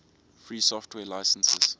free software licenses